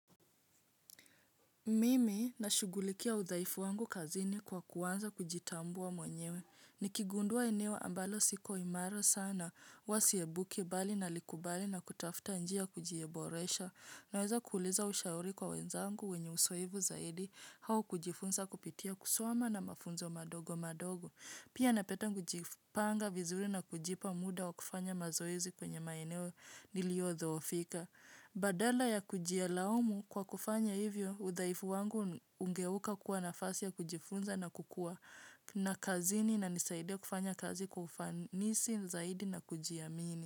Mimi na shugulikia udhaifu wangu kazini kwa kuanza kujitambua mwenyewe. Nikigundua eneo ambalo siko imara sana, huwasiyebuki bali na likubali na kutafta njia ya kujiboresha. Naweza kuuliza ushauri kwa wenzangu wenye usoevu zaidi, hau kujifunza kupitia kusoma na mafunzo madogo madogo. Pia napeta kujipanga vizuri na kujipa muda wa kufanya mazoezi kwenye maeneo niliodhoofika. Badala ya kujilaumu kwa kufanya hivyo, udhaifu wangu ungeuka kuwa nafasi ya kujifunza na kukua na kazini inanisaidia kufanya kazi kwa ufanisi zaidi na kujiamini.